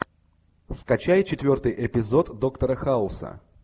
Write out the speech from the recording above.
скачай четвертый эпизод доктора хауса